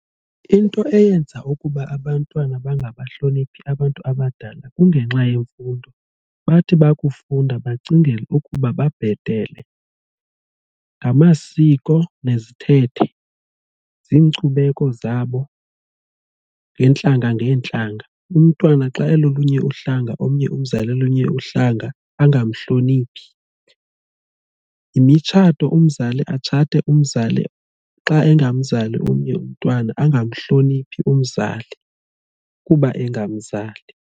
Into eyenza ukuba abantwana bangabahloniphi abantu abadala kungenxa yemfundo, bathi bakufunda bacingele ukuba babhetele. Ngamasiko nezithethe ziinkcubeko zabo ngeentlanga ngeentlanga umntwana xa elolunye uhlanga omnye umzali olunye uhlanga angamhloniphi. Imitshato umzali atshate umzali xa egamzali omnye umntwana angamhloniphi umzali kuba engamzali.